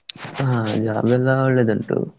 ಹಾ job ಎಲ್ಲಾ ಒಳ್ಳೆದುಂಟು.